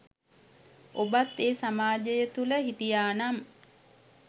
ඔබත් ඒ සමාජය තුළ හිටියා නම්